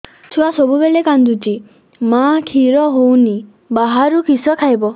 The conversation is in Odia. ଛୁଆ ସବୁବେଳେ କାନ୍ଦୁଚି ମା ଖିର ହଉନି ବାହାରୁ କିଷ ଖାଇବ